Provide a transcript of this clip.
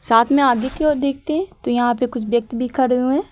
साथ में आगे की ओर देखते हैं तो यहां पर कुछ व्यक्ति खड़े हुए हैं।